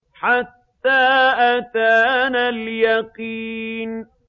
حَتَّىٰ أَتَانَا الْيَقِينُ